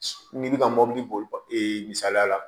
N'i bɛ ka mobili boli e misaliya la